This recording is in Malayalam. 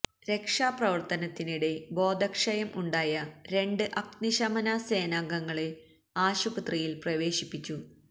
രക്ഷാ പ്രവര്ത്തനത്തിനിടെ ബോധക്ഷയം ഉണ്ടായ രണ്ട് അഗ്നി ശമന സേനാംഗങ്ങളെ ആശുപത്രിയില് പ്രവേശിപ്പിച്ചു